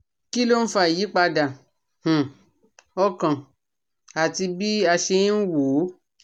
Kí ló ń fa ìyípadà um ọkàn àti bí a ṣe ń wo ó?